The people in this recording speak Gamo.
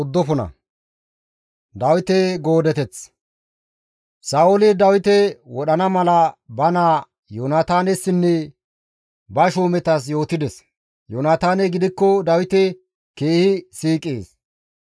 Sa7ooli Dawite wodhana mala ba naa Yoonataanessinne ba shuumetas yootides; Yoonataaney gidikko Dawite keehi siiqees;